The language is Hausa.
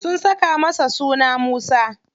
Sun saka masa suna Musa.